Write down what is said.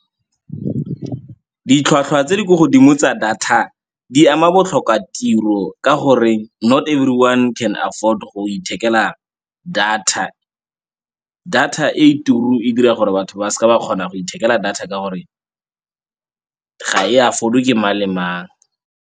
Ditlhwatlhwa tse di ko godimo tsa data di ama botlhokatiro ka gore not everyone can afford go ithekela data. Data e turu e dira gore batho ba seke ba kgona go ithekela data ka gore ga e afford-we ke mang le mang.